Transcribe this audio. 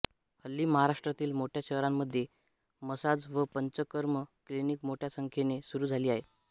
हल्ली महाराष्ट्रातील मोठ्या शहरांमध्ये मसाज व पंचकर्म क्लिनिक मोठ्या संख्येने सुरू झाली आहेत